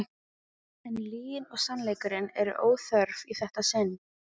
En lygin og sannleikurinn eru óþörf í þetta sinn.